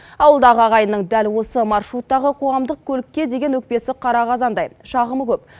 ауылдағы ағайынның дәл осы маршруттағы қоғамдық көлікке деген өкпесі қара қазандай шағымы көп